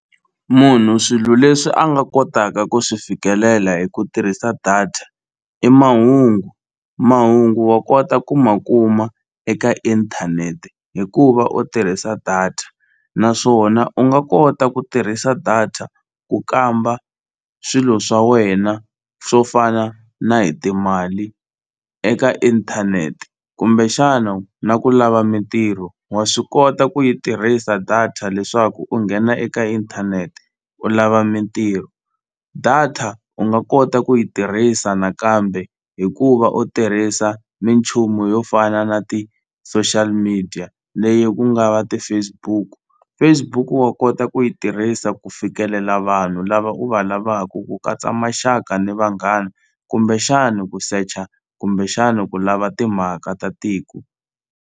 Munhu swilo leswi a nga kotaka ku swi fikelela hi ku tirhisa data i mahungu, mahungu wa kota ku ma kuma eka inthanete hi ku va u tirhisa data naswona u nga kota ku tirhisa data ku kamba swilo swa wena swo fana na hi timali eka inthanete kumbexana na ku lava mitirho wa swi kota ku yi tirhisa data leswaku u nghena eka inthanete u lava mitirho data u nga kota ku yi tirhisa nakambe hikuva u tirhisa minchumu yo fana na ti-social media leyi ku nga va ti-Facebook. Facebook wa kota ku yi tirhisa ku fikelela vanhu lava u va lavaku ku katsa maxaka ni vanghana kumbexani ku secha kumbexani ku lava timhaka ta tiko.